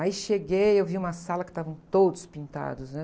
Aí cheguei, eu vi uma sala que estavam todos pintados, né?